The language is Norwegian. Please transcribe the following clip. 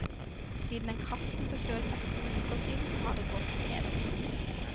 Siden en kraftig forkjølelse for to uker siden har det gått nedover.